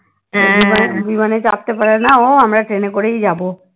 জীবনে চাপতে পারেনা ও আমরা ট্রেনে করেই যাবো